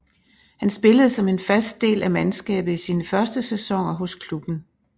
Han spillede som en fast del af mandskabet i sine første sæsoner hos klubben